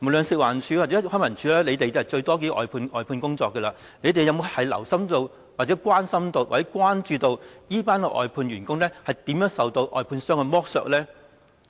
食環署或康文署判出最多外判工作，他們有否留心、關心或關注這些外判員工如何受到外判商的剝削呢？